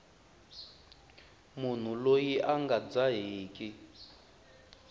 munhu loyi a nga dzaheki